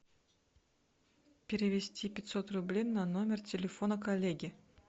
перевести пятьсот рублей на номер телефона коллеги